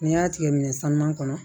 N'i y'a tigɛ minɛ sanuman kɔnɔ